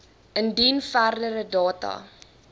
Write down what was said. indien verdere data